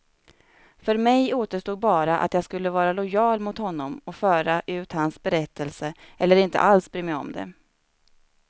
För mig återstod bara om jag skulle vara lojal mot honom och föra ut hans berättelse, eller inte alls bry mig om det.